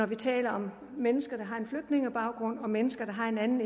vi taler om mennesker der har en flygtningebaggrund eller om mennesker der har en anden